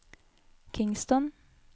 Kingston